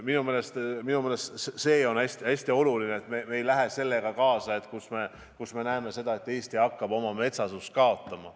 Minu meelest see on hästi oluline, et me ei lähe sellega kaasa, et me näeme seda, et Eesti hakkab oma metsasust kaotama.